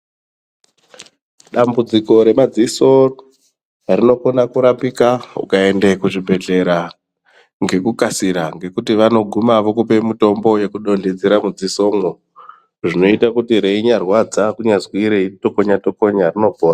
Dambudziko remadziso rinokona kurapika ukaende kuzvibhedhlera ngekukasira nekuti vanoguma vokupe mutombo wekudonhedzera mudziso mwo zvinoite kuti reinyarwadza kunyazirwe kutokonyatokonya rinopora .